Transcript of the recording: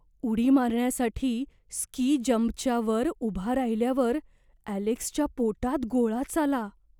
उडी मारण्यासाठी स्की जंपच्या वर उभा राहिल्यावर ॲलेक्सच्या पोटात गोळाच आला.